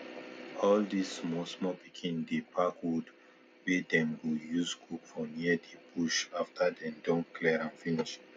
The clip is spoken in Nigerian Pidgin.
all this small small pikin dey pack wood wey dem go use cook for near the bush after dem don clear am finish